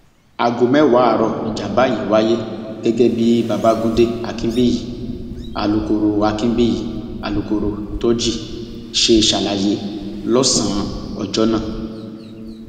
aago mẹwàá àárò níjàmbá yìí wáyé gẹgẹ bí babagunde akinbíyì alūkkoro akinbíyì alūkkoro thoji ṣe ṣàlàyé lọsànán ọjọ náà